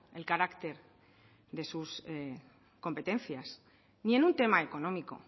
el carácter de sus competencias ni en un tema económico